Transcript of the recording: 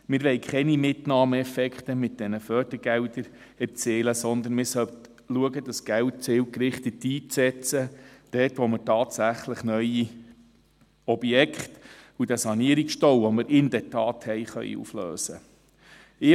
Wir wollen mit diesen Fördergeldern keine Mitnahmeeffekte erzielen, sondern man sollte schauen, dieses Geld zielgerichtet einzusetzen, dort, wo wir tatsächlich neue Objekte und den Sanierungsstau, den wir in der Tat haben, auflösen können.